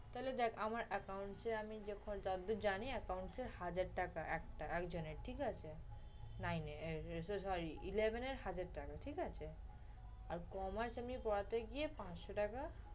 তাইলে দেখ আমার account যে আমি যতদূর জানি, accounts এ হাজার টাকা একটা একজনের ঠিক আছে। nine এ sorry eleven এ হাজার টাকা ঠিক আছে। তারপর commerce আমি পড়াতে গিয়ে পাঁচশ টাকা